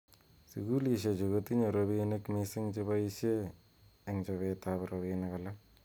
Sukulishechu kotinye robinik mising cheboishe eng chobet ab robinik alak.